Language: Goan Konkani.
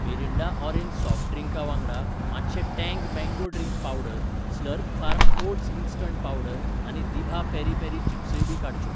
मिरिंडा ऑरेंज सॉफ्ट ड्रिंका वांगडा, मातशें Tang mango drink powder, Slurrp Farm oats instant powder आनी दिभा पेरी पेरी चिप्सय बी काडच्यो.